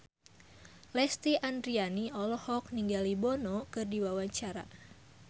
Lesti Andryani olohok ningali Bono keur diwawancara